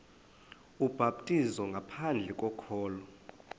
ubhaptizo ngaphandle kokholo